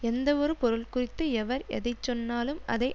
எந்தவொரு பொருள்குறித்து எவர் எதை சொன்னாலும் அதை